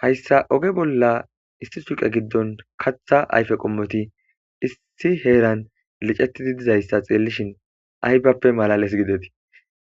Hayissa ogge bolla issi suqqe giddon kaththa ayiffe qommoti issi heran liccetidi dizayissa xellishin ayibappe malales giddeti